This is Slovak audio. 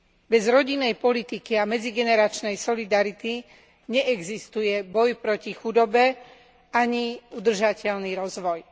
Bez rodinnej politiky a medzigeneračnej solidarity neexistuje boj proti chudobe ani udržateľný rozvoj.